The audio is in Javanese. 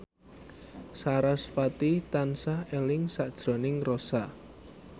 sarasvati tansah eling sakjroning Rossa